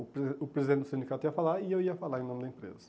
O presiden o presidente do sindicato ia falar e eu ia falar em nome da empresa.